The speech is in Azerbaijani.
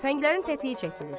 Tüfənglərin tətiyi çəkilir.